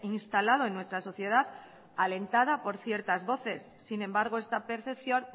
instalado en nuestra sociedad alentada por ciertas voces sin embargo esta percepción